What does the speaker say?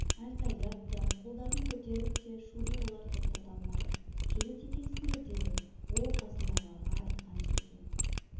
айқайлап та қолдарын көтеріп те шуды олар тоқтата алмады жігіт екесіңдер деді ол қасындағыларға айтқан жерден